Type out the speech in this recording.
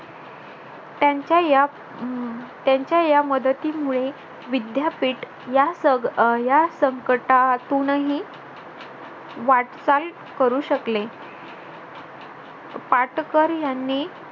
त्यांच्या या त्यांच्या या मदतीमुळे विद्यापीठ या संकटातूनही वाटचाल करू शकले पाटकर यांनी